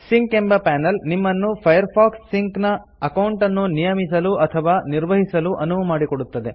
sync ಎಂಬ panel ನಿಮ್ಮನ್ನು Firefox sync ನ ಅಕೌಂಟ್ ಅನ್ನು ನಿಯಮಿಸಲು ಅಥವಾ ನಿರ್ವಹಿಸಲು ಅನುವು ಮಾಡಿಕೊಡುತ್ತದೆ